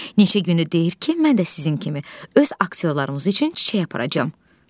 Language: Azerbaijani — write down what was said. Neçə gündür deyir ki, mən də sizin kimi öz aktyorlarımız üçün çiçək aparacam.